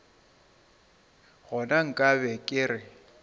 gona nka be ke re